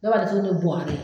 Dɔw b'a datugu ni buwakɛ